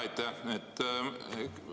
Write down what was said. Aitäh!